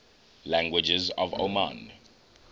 languages of oman